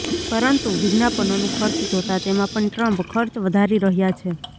પરંતુ વિજ્ઞાપનોનું ખર્ચ જોતાં તેમાં પણ ટ્રમ્પ ખર્ચ વધારી રહ્યા છે